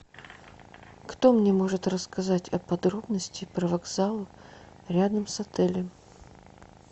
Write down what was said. кто мне может рассказать о подробности про вокзал рядом с отелем